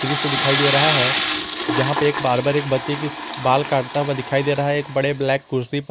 दृश्य दिखाई दे रहा है जहां पे एक बार्बर एक बच्चे की बाल काटता हुआ दिखाई दे रहा है एक बड़े ब्लैक कुर्सी प--